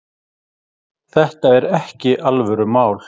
Þetta er ekki alvörumál.